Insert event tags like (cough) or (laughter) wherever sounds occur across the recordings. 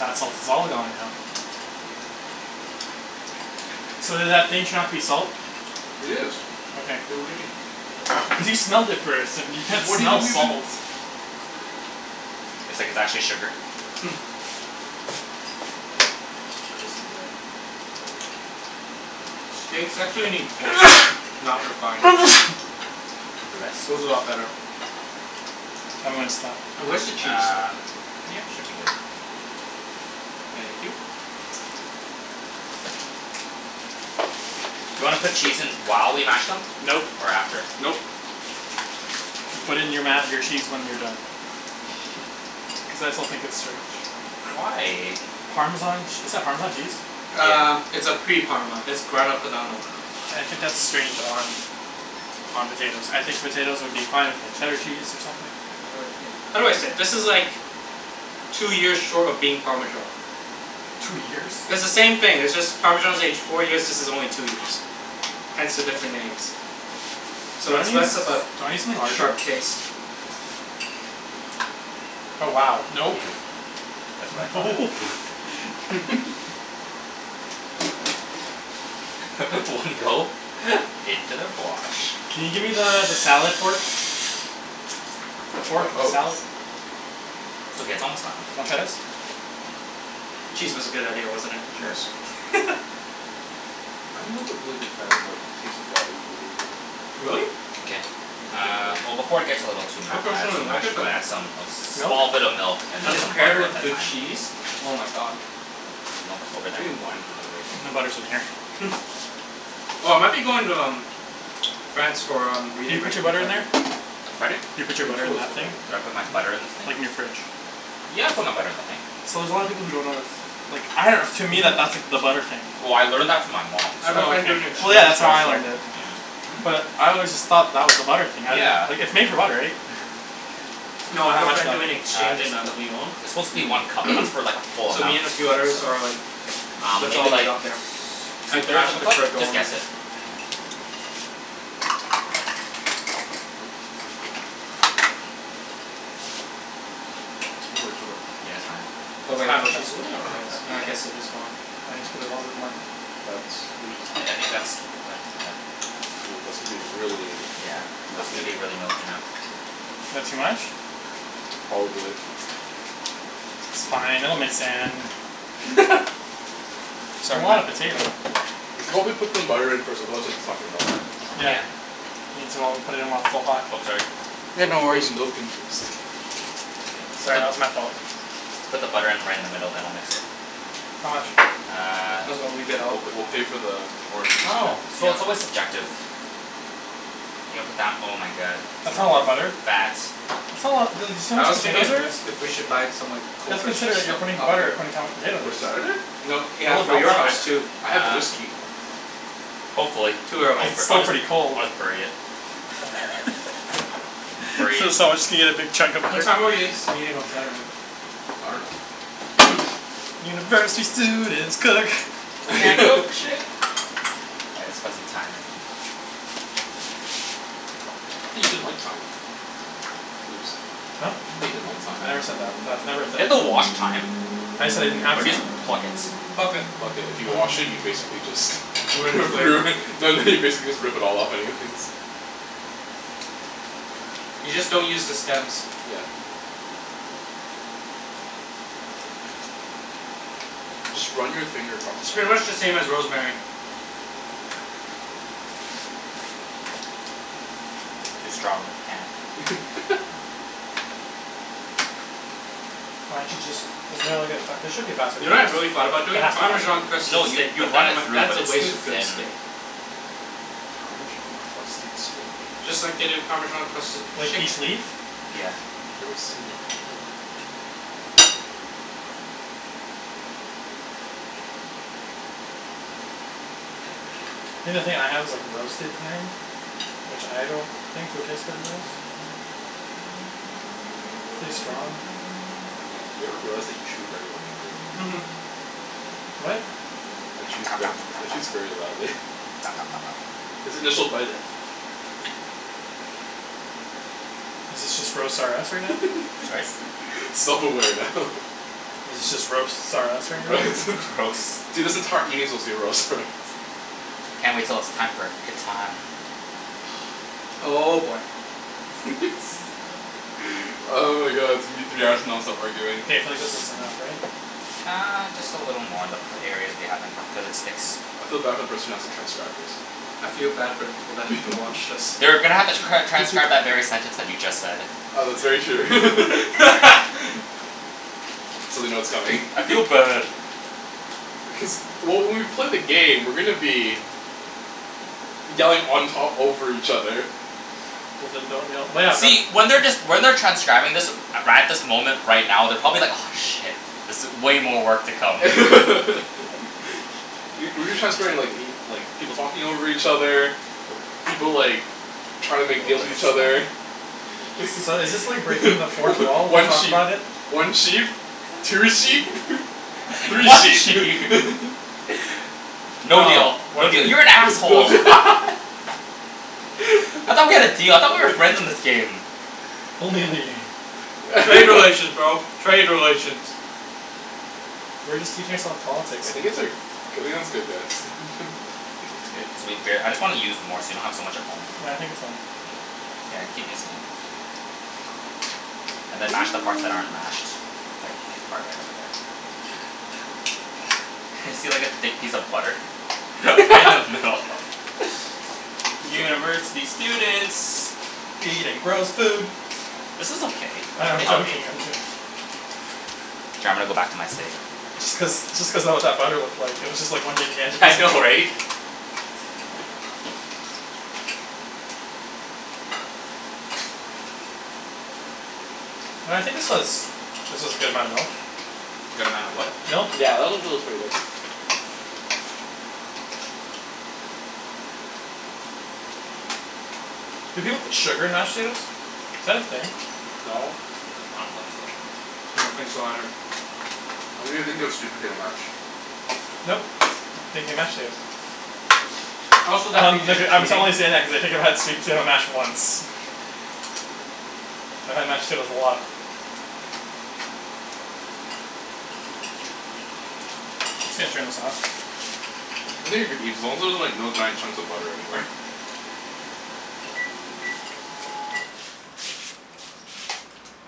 That salt is all gone now. So did that thing turn out to be salt? It is. Okay. Wait, what do you mean? (laughs) Because you smelled it first and you can't What do you smell think we've been salt. It's like it's actually sugar. (noise) Nice and red, like that. Steaks actually need coarse salt. Not refined. (noise) Bless you. Goes a lot better. I'm goin' stop. Now where's the cheese? Uh yeah should be good. Thank you. Do you wanna put cheese in while we mash them? Nope, Or after? nope. You put it in your ma- your cheese when you're done. Cuz I still think it's strange. Why? Parmesan ch- is that Parmesan cheese? Uh Yeah. it's a pre parma. It's Grana Padano I think that's strange on on potatoes. I think potatoes would be fine with like cheddar cheese or something. How do I say it? This is like Two years short of being Parmesan. Two years? It's the same thing. It's just Parmesan is aged four years, this is only two years. Hence the different names. Do So you it's wanna use less do of you a wanna use something larger? sharp taste. Oh wow Yeah. nope That's what I thought. Nope (noise) (laughs) (laughs) You need that. (noise) (laughs) One go into the fwosh. Can you gimme the the salad fork? The Fork? fork of a Oh. salad? It's okay, it's almost done. Wanna try this? Cheese was a good idea, wasn't it. Sure. Yes. (laughs) I'm not the really big fan of like taste of raw a- arugula. Really? No, K, not my favorite uh veg. well before it gets a little too (noise) ma- uh personally too like mashed it but we'll add some Nope. small bit of milk and then When it's some paired butter and with the good thyme. cheese. Oh my god. Where's the milk? Over there? We need wine for today. I think the butter's in here. (noise) Oh I might be going to um France for um Did you reading put break your in butter in there? February. Pardon? You I put think your you butter in told us that thing? already. Did I put my Mhm. butter in this thing? Like in your fridge. Yeah, I put my butter in the thing. So there's a lotta people who don't know that's like I dunno to me Mhm. that that's the butter thing. Well I learned that from my mom I have a Oh friend okay, doing well so (inaudible) yeah exchange that's how there I so learned it. (noise) Hmm? But I always just thought that was the butter thing. I didn't - - like Yeah. it's made for butter right? (laughs) (laughs) No I have How a much friend milk? doing Uh exchange just in uh um Lyon it's supposed to be one Mmm. cup but that's like for like a (noise) full So amount me and a few others so. are like Um "Let's all maybe meet like t- up there two and thirds crash of a he- cup? her Just dorm guess room." it. We'll wait for them. Yeah, it's fine. Oh It's wait no half a cup. she's living on Half a (noise) rez. cup? Uh I Okay. guess it is dorm. Why don't you put a little bit more? That's are you supposed I I to? think that's quite (noise) Ooh, that's gonna be really Yeah, that's gonna milky. be really milky now. That too much? Probably. It's fine. It'll mix in. (laughs) It's a lot of (noise) potato We should probably put some butter in first otherwise it's not gonna melt. Yeah Yeah. Need to o- put it in while it's still hot. Oh sorry. Yeah, Why'd no you pour the worries. milk in first? Sorry, that was my fault. Put the butter in right in the middle then I'll mix it. How much? Uh. Might as well leave it We'll out. p- we'll pay for the I orange juice dunno. too. It's real- Yeah. it's always subjective. You're gonna put down oh my god. That's It's not a lot of gonna butter. fat That's not a lotta dude you see how I much was thinking potatoes of there is? (noise) if we should buy some like Let's coke or sh- consider that stuff you're putting up here. butter according to how much potato For there is. Saturday? No yeah Will it for melt? your I house d- too. I have uh whiskey. Hopefully Too I'll Cuz early. b- it's I'll, still pretty cold. I'll just bury it. (laughs) Bury it. So someone's just gonna get a big chunk of What butter? time are we s- meeting on Saturday? I dunno. (noise) University students cook. Can't cook for (laughs) shit. All right let's put some thyme in. I thought you didn't like thyme. Ibs. Huh? Thought you didn't like thyme. I never said that. That's Do never a thing. you have to wash thyme? I just said I didn't have Or do you thyme. just pluck it? Pluck it. Pluck it. If you wash it you basically just (laughs) Ruin the flavor. ruin no no you basically just rip it all off anyways. You just don't use the stems. Yeah. Just run your finger across the It's pretty thyme. much the same as rosemary. Too strong. Can't. (laughs) Why didn't you just isn't there like a fa- there should be a faster You way to know do what I really this. thought about There doing? has to be a faster Parmesan way to crusted No do this. you steak. you But then run I'm it like, through that's but a it's waste too of good thin. steak. Parmesan crusted steak? Just like they do Parmesan crusted Like chicken. each leaf? Yeah. I've never seen it though. Think the thing I have is like roasted thyme Which I don't think would taste better than this. It's really strong. Matt, do you ever realize that you chew very loudly? Mhm. What? Matt chews ver- Matt chews very loudly (laughs) (noise) His initial bite i- (noise) Is this just roast R us right now? Sorry? (laughs) Self aware now. Is it just roasts R us (noise) right now? R- (laughs) roast dude this entire evening's supposed to be roast R us. Can't wait till it's time for Catan. Oh boy. (laughs) (noise) Oh my god it's gonna be three hours of nonstop arguing. K, I feel like this is enough, right? Uh just a little more they'll put areas we haven't cuz it sticks. I feel bad for the person who has to transcribe this. I feel bad for the people that have to watch (laughs) this. They're gonna have to cr- transcribe that very sentence that you just said. Oh that's very true. (laughs) (laughs) So they know it's coming. (laughs) I feel bad. Cuz well when we play the game we're gonna be Yelling on top over each other. Well then don't yell well yeah the See when they're just when they're transcribing this right at this moment right now they're probably like aw shit. This i- way more work to come. (laughs) Y- we've been transcribing like y- like people talking over each other. (noise) People like trying to make (inaudible) little deals put with the each stem. other. (laughs) So is this like breaking the fourth wall to One talk sheep about it? one sheep Two sheep (laughs) three One sheep sheep (laughs) (laughs) No deal No, one no deal sheep. you're an (laughs) no asshole. (laughs) I thought we had a deal I thought we were friends in this (laughs) game. Only in the game. Trade relations, (laughs) bro, trade relations. We're just teaching ourself politics I (noise) think it's uh I think it's good guys (laughs) It's good cuz we bare- I just wanna use more so we don't have so much at home. Well I think it's fine. Mkay, yeah keep mixing it. And then mash the parts that aren't (noise) mashed like thick part right over there. (laughs) see like a thick piece of butter. (laughs) Right in the (laughs) middle. Can you keep going University students Eating gross food. This is okay, I it's know I'm pretty healthy. joking I'm jo- K, I'm gonna go back to my steak. Just cuz just cuz that what that butter looked like. It was just one (laughs) gigantic Yeah I know piece. right? No I think this was this was a good amount of milk. Good amount of what? Milk Yeah that actually looks pretty good. Do people put sugar in mashed potatoes? Is that a thing? No. I don't think so. I don't think so either. I think you're thinking of sweet potato mash. Nope, I'm thinking mashed potatoes. Also that'd Um be like just uh I'm t- cheating. only saying that cuz I've had sweet potato mash once. (laughs) I've had mashed potatoes a lot. I'm just gonna turn this off. I think you're good Ibs as long as there's like no giant chunks of butter anywhere. (laughs)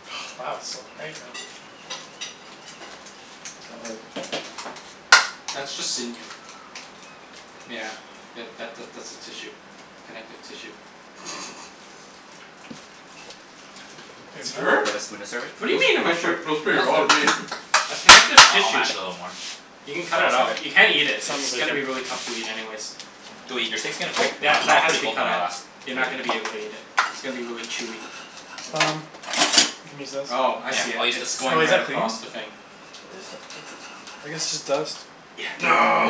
(noise) Wow it's so quiet now. Uh oh. That's just sinew. Yeah. Yeah that that that's a tissue. Connective tissue. (laughs) It's You enough? Do sure? you have a spoon to serve it? What do Ni- you mean am I nice sure? trick, looks pretty Now raw to it's me. good. That's connective Uh I'll tissue. mash it a little more. You can cut Then it I'll serve out. it. You can't eat it. It's Simon's really gonna be really good. tough to eat (noise) anyways. Go eat, your steak's getting cold. Like Mine, that mine that was has to pretty be cold cut when I out. last You're ate not gonna be it. able to eat it. It's gonna be really chewy. Um You can use this. Oh I Yeah, see it. I'll use this It's to Oh going is right that clean. clean? across the thing. I guess it's just dust.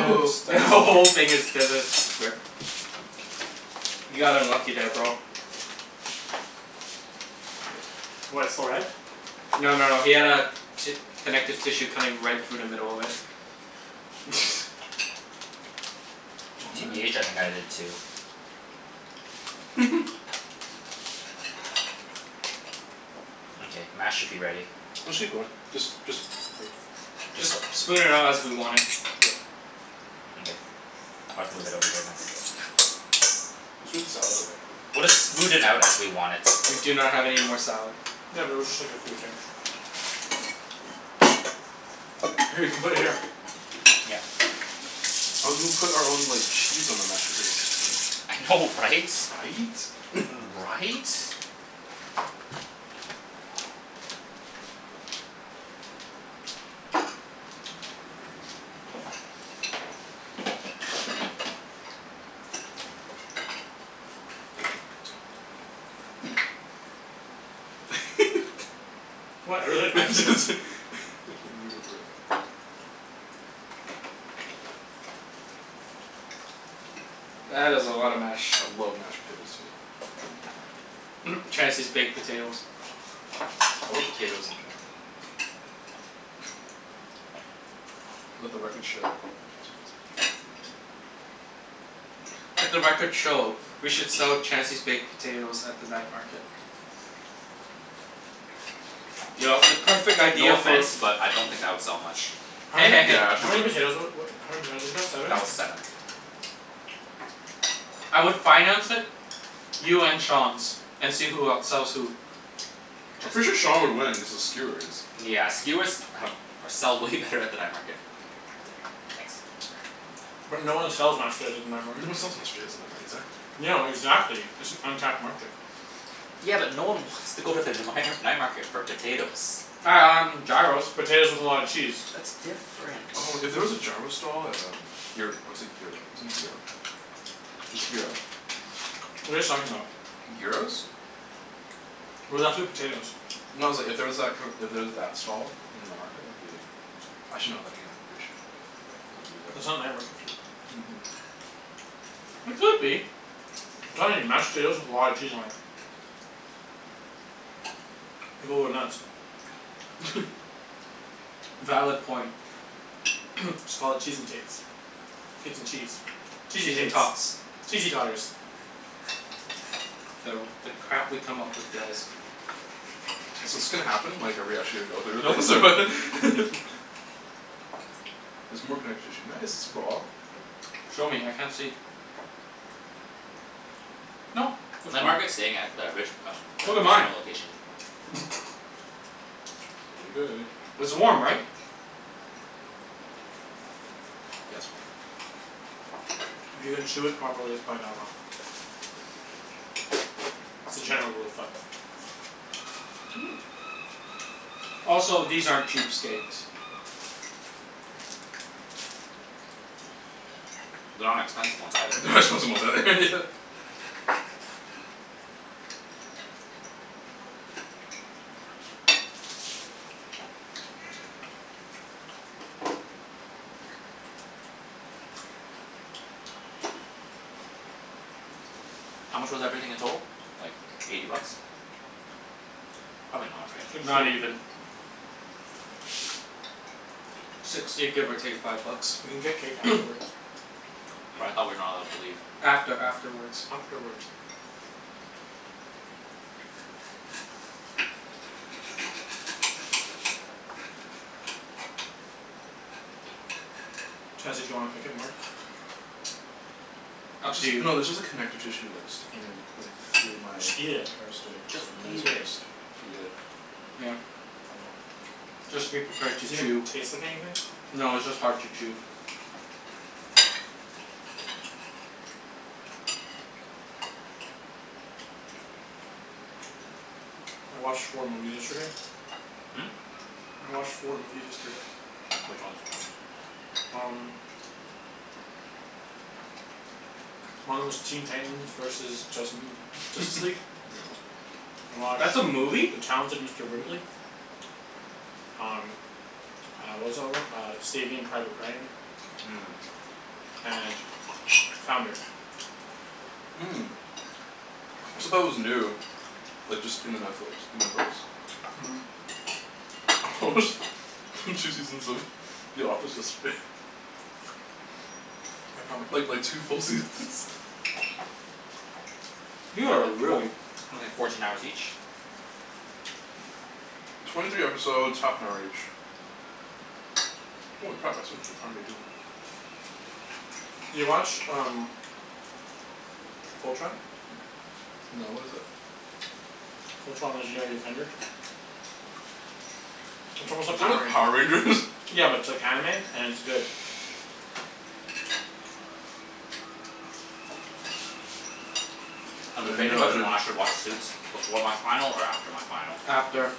Yeah it's The who- (laughs) dust. whole Mkay. thing there's a rip. You got unlucky there bro. What, it's still red? No no no he had a ti- connective tissue cutting right through the middle of it. (noise) (laughs) Oh man. TBH I think I did too. (laughs) Mkay, mash should be ready. Actually good just just (noise) Just Just lips? spoon it out as we want it. Yep. Mkay. I'll just move it over there then. Let's put the salad away. We'll just smooth it out as we want it. We do not have any more salad. Yeah but it was just like a few things. Here you can put it here. Yeah. I was gonna put our own like cheese on the mashed potatoes. (noise) I know right? Right? (laughs) Right? (laughs) What? (laughs) I really like my I potatoes. just, think I'ma go for it. That is a lot of mash. I love mashed potatoes too. (laughs) Chancey's baked potatoes. I love potatoes in general. Let the records show that Chancey loves potatoes. Let the records show we should sell Chancey's baked potatoes at the night market. Yo, the perfect No idea for offense, but I don't think that would sell much. How Hey many hey hey. Yeah, how actually many wouldn't. potatoes wa- wa- how many potatoes was that? Seven? That was seven. I would finance it. You and Sean's, and see who outsells who. I'm Just pretty be- sure shh Sean would win, cuz of skewers. Yeah skewers have or sell way better at the night market. I'll take it. Thanks. But no one sells mashed potatoes at the night (noise) market. sells mashed potatoes night mar- exactly. No, exactly, it's an untapped market. Yeah but no one wants to go to the the mighnar- night market for potatoes. Um gyros. Potatoes with a lot of cheese. That's different. Oh if there was a gyro stall at um gyr- or is it gyro, isn't it gyro? It's gyro. What are you guys talking about? Gyros? We're left with potatoes. No it's like if there was that kinda, if there was that stall in the night market that'd be Actually no then again pretty sure should go grab for the eat at That's not night market food. Mhm. It could be. I'm telling you. Mashed potatoes with a lot of cheese on it. People would nuts. Valid point. Just call it "Cheese N tates" "Tates N cheese" "Cheesey Cheese N tates" tots. "Cheesey totters." The the crap we come up with, guys. So 's this gonna happen? Like are we actually gonna go through with this Nope. or? (laughs) (laughs) There's more connective tissue. Nice (noise) Show me, I can't see. Nope, (noise) that's Night fine. market's staying at the Rich- um the Look at mine. casino location. Mkay. It's warm, right? If you can chew it properly, it's probably not raw. It's a general rule of thumb. (noise) Also, these aren't cheap steaks. They're not expensive ones either. They're not expensive ones either (laughs) Yeah. (noise) How much was everything in total? Like eighty bucks. Probably not, right? Sixty. Not even. Sixty give or take five bucks. We can get cake afterwards. But I thought we're not allowed to leave. After afterwards. Afterwards. Chancey do you wanna cook it more? Up It's to you. just no there's just like connective tissue like sticking in like through my Just eat it. entire steak so Just I may as eat well it. just eat it. Yeah. Oh well. Just be prepared Does to it even chew. taste like anything? No, it's just hard to chew. I watched four movies yesterday. I watched four movies yesterday. Which ones? Um. One of 'em was Teen Titans versus Justin Justice League. (laughs) Yep. I watched That's a movie? "The Talented Mister Mhm. Ripley." Um uh what was the other one? Uh "Saving Private Ryan." Mmm. (noise) And "Founder." (noise) Said that was new. Like just in the Netflix. In Netflix. Mhm. (laughs) I watched two seasons of The Office yesterday. Yeah, probably. Like like two full seasons (laughs) You That are like four- really only fourteen hours each? Twenty three episodes half an hour each. Holy crap I spent the entire day doing it. You watch um "Fultron?" No what is that? "Fultron, Legendary Defenders?" It's Is almost like that Power like Power Rangers? Rangers. (laughs) Yeah but it's like anime and it's good. (laughs) Uh I'm debating no I whether or didn't. not I should watch Suits before my final or after my final. After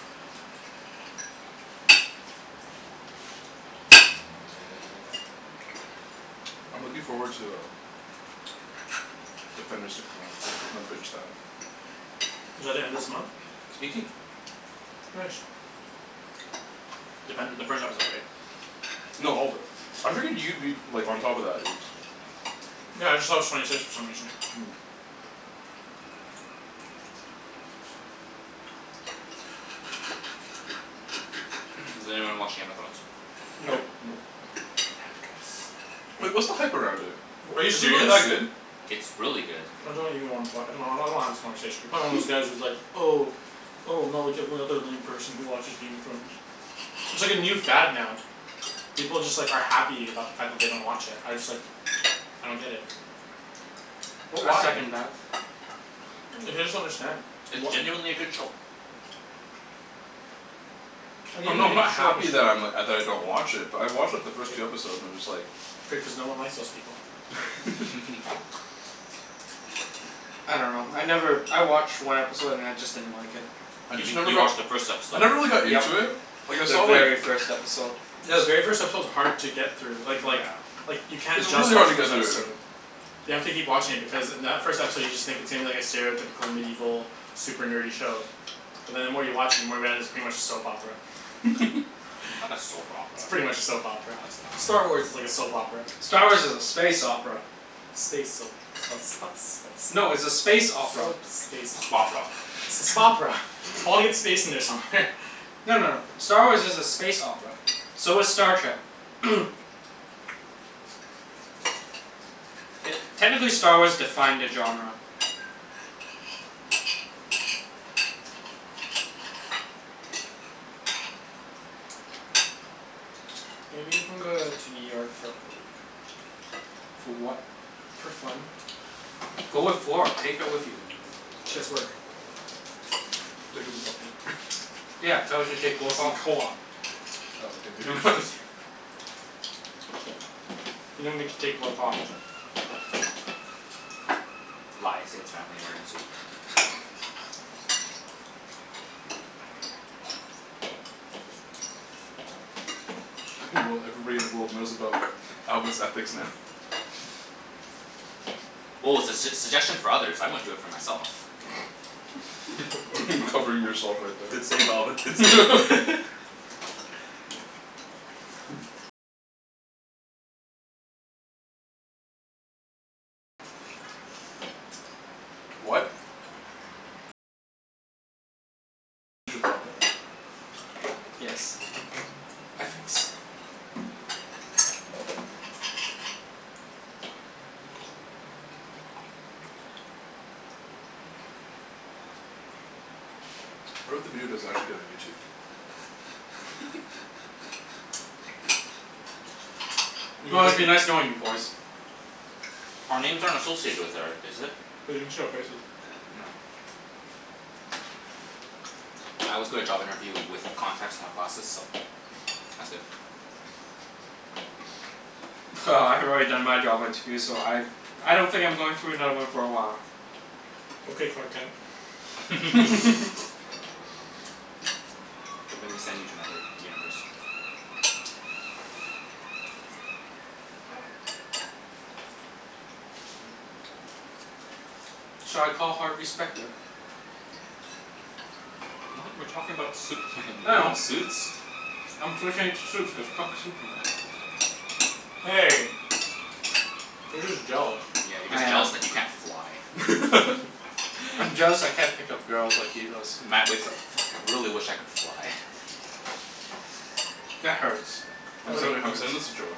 I'm looking forward to um Defenders to come out. I'm gonna binge that. Is that the end of this month? It's eighteen. Nice. Defender the first episode right? No all of it. I figured you'd be like on top of that Ibs. Yeah I just thought it was twenty six for some reason. (noise) (noise) Does anyone watch Game of Thrones? Nope. Nope. Nope. Damn it guys. Wait, what's the hype around it? W- are you Is it really serious? that good? It's really good. I don't even wanna talk I don't- I don't wanna have this conversation. You're probably one of those (laughs) guys who's like "Oh "Oh I'm not like every other lame person who watches Game of Thrones." It's like a new fad now. People just like are happy about the fact that they don't watch it. I just like I don't get it. What I why? second that. Like I just don't understand. It's What genuinely a good show. Like even I'm not if I'm you not have the show happy just that I'm like, uh, that I don't watch it but I watched like the first two episodes and I'm just like Good cuz no one likes those people. (laughs) (laughs) I dunno. I never, I watched one episode and then I just didn't like it. I You just mean- never you got watched the first I episode. never really got Yep, into it Like I the saw like very first episode. Yeah the very first episode is hard to get through. Like like Yeah. like you can't It's just really watch hard to the first get through. episode. You have to keep watching it because in that first episode you just think it seems like a stereotypical medieval super nerdy show But then the more you watch it the more you realize it's pretty much a soap opera. (laughs) Not a soap It's opera. pretty much a soap opera. No it's Star not. Wars is like a soap opera. Star Wars is a space opera. Space soap (noise) No it's a soap space space opera. opera. Spopera. It's a "Spopera." Audience space in there somewhere. No no no. Star Wars is a space opera. So is Star Trek. (noise) Te- technically Star Wars defined the genre. Maybe you can go uh to New York for like a week. For what? For fun. Go with (noise) Flor, take her with you. She has work. Take a week off work. (laughs) Yeah, tell her to She's take work in off. co-op. Oh okay, maybe not. (laughs) (noise) You don't get to take work off. Lie, say it's family emergency. Well everybody in the world knows about Alvin's ethics now. (laughs) Well it's a s- suggestion for others. I wouldn't for do it myself. (laughs) (laughs) Covering yourself right Good there. save Alvin, good save. (laughs) (laughs) What? Yes. Ethics. What if the video does actually get on YouTube? (laughs) You can Well, break it's it. been nice knowing you boys. Our names aren't associated with or is it? They can see our faces. Oh. I always go to job interview with contacts not glasses, so that's good. (laughs) Well, I've already done my job interview so I I don't think I'm going through another one for a while. Okay Clark Kent. (laughs) (laughs) (laughs) Don't make me send you to another universe. Shall I call Harvey Specter? What? We're talking about Superman, you're I talking know. about Suits? I'm switching it to Suits cuz fuck Superman. Hey. You're just jealous. Yeah, you're I just am. jealous that you can't fly. (laughs) (laughs) I'm jealous I can't pick up girls like he does. Matt wakes up: "Fuck, I really wish I could fly." That hurts. I'm That really sen- I'm hurts. sending this to Joanne.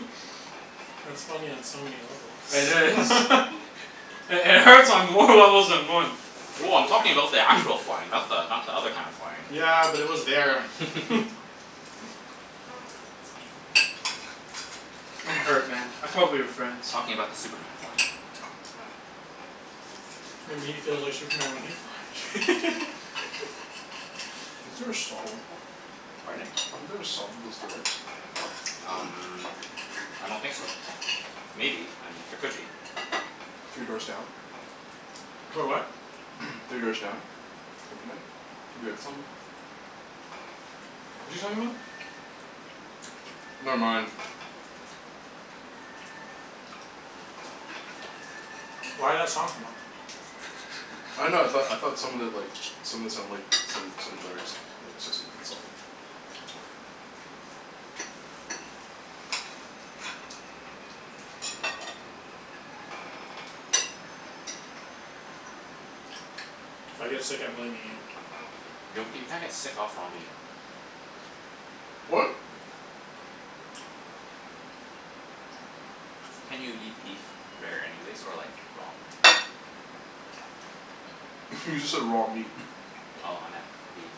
(laughs) That's funny on so many levels. It is. (laughs) It hurts on more levels than one. Well, I'm talking about the actual (noise) flying. Not the not the other kind of flying. Yeah, but it was there. (laughs) I'm hurt man, I thought we were friends. Talking about the Superman flying. Maybe he feels like Superman when he flies. (laughs) Isn't there a song like that? Pardon? Isn't there a song with those lyrics? Um I don't think so. (noise) Maybe, I mean there could be. Three Doors Down? Clo- what? (noise) Three Doors Down? Kryptonite? Have you heard that song before? What's he talking about? Never mind. Why'd that song come up? I dunno, I thought I thought some of it like, some of it sounded like some some lyrics lyrics associated with the song. If I get sick I'm blaming you. Gnocchi, you can't get sick off raw meat. What? Can't you eat beef rare anyways? Or like raw? (laughs) You just said raw meat. (laughs) Oh, I meant beef.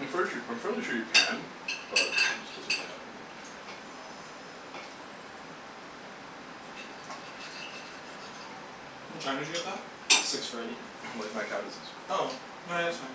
I'm fairly sure I'm fairly sure you can, but it just doesn't really happen often. What time did you get that? Six thirty. (noise) Like mad cow disease. Oh. No yeah, that's fine.